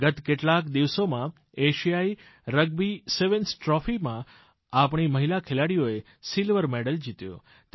ગત કેટલાક દિવસોમાં એશિયાઈરગ્બી સેવેન્સ ટ્રોફીમાં આપણી મહિલા ખેલાડીઓએ સિલ્વર મેડલ જીત્યો